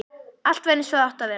Allt var eins og það átti að vera.